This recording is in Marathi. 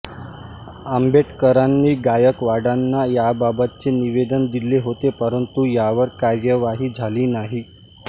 आंबेडकरांनी गायकवाडांना याबाबतचे निवेदन दिले होते परंतु यावर कार्यवाही झाली नाही